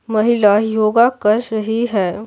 महिला योगा कर रही है।